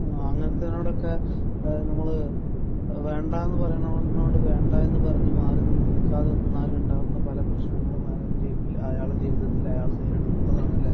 ആഹ്. അങ്ങനത്തേതിനോട് ഒക്കെ ഏഹ് നിങ്ങൾ ഏഹ് വേണ്ട എന്ന് പറയേണ്ടതിനോട് വേണ്ട എന്ന് പറഞ്ഞ് മാറി നിൽക്കാതിരുന്നാൽ ഉണ്ടാകുന്ന പല പ്രശ്നങ്ങളും അയാളുടെ ജീവിതത്തിൽ അയാൾ നേരിടുമെന്നുള്ളതാണല്ലേ?